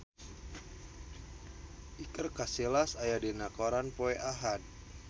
Iker Casillas aya dina koran poe Ahad